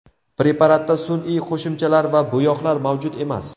Preparatda sun’iy qo‘shimchalar va bo‘yoqlar mavjud emas.